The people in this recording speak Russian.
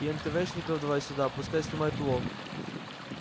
и энтэвэшников давай сюда пускай снимают улов